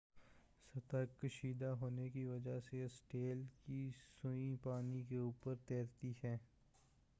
سطح کشیدہ ہونے کی وجہ سے اسٹیل کی سوئی پانی کے اوپر تیرتی ہے